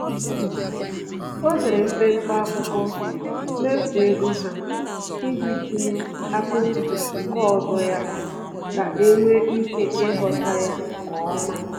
O dere mpempe akwụkwọ mmefu ego ha iji tinye akaụntụ nke ọzọ ya ka enwe ike ịghọta ya nkeọma